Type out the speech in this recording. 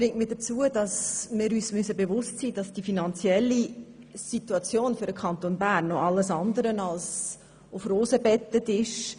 Wir müssen uns bewusst sein, dass der Kanton Bern finanziell noch alles andere als auf Rosen gebettet ist.